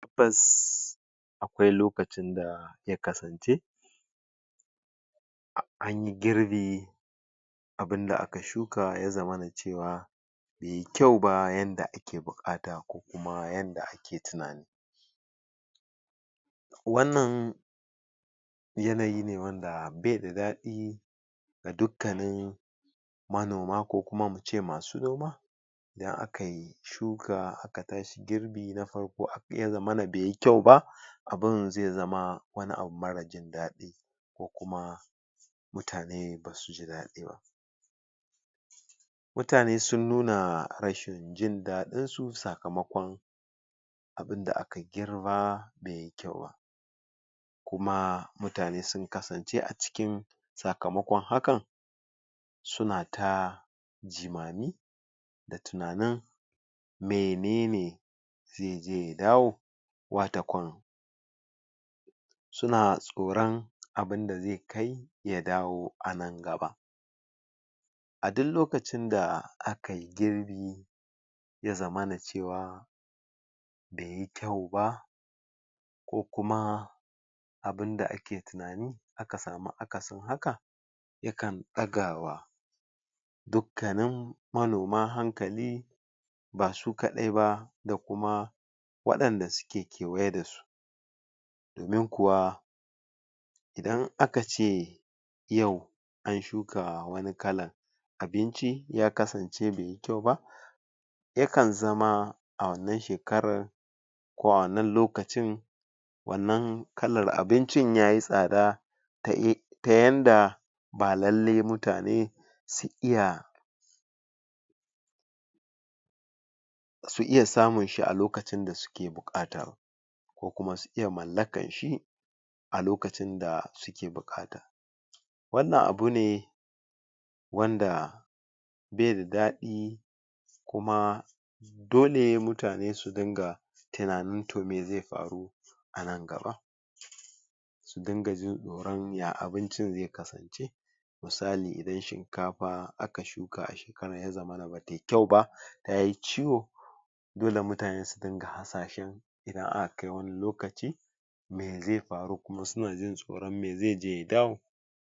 tabbas aƙwai lokacin da ya kasance anyi girbi abunda aka shuka ya zamana cewa beyi kyau ba yanda ake buƙata ko kuma yanda ake tunani wannan yanayi ne wanda be da daɗi ga dukkanin manoma ko kuma muce masu noma idan akai shuka aka tashi girbi na farko abun ya zamana beyi kyau ba abun zai zama wani abu mara jindaɗi ko kuma mutane basuji daɗi ba mutane sun nuna rashin jindaɗinsu sakamaƙon abunda aka girba beyi kyau ba kuma mutane sun kasance a cikin sakamaƙon hakan suna ta jimami da tunanin menene zai je ya dawo wata ƙwan suna tsoran abunda zai kai ya dawo anan gaba a dun lokacin da akai girbi ya zamana cewa beyi kyau ba ko kuma abunda ake tunani aka samu akasin haka yakan ɗagawa duk kanin manoma hankali basu kaɗai ba da kuma waɗanda suke kewaye dasu domin kuwa idan akace yau an shuka wani kalan abinci ya kasance beyi kyau ba yakan zama a wannan shekarar ko a wannan lokacin wannan kalar abincin yayi tsada ta yanda ba lallai mutane su iya su iya samunshi a lokacin da suke buƙata ba ko kuma su iya mallakanshi a lokacin da suke buƙata wanann abune wanda beda daɗi kuma dole mutane su dinga tunanin to me zai faru anan gaba su dinga jin tsoran ya abincin zai kasance misali idan shinkafa aka shuka a shekaran ya zamana batayi kyau ba tayi ciwo dole mutane su dinga hasashan idan aka kai wani lokaci me zai faru kuma sunajin tsoran me zai je ya dawo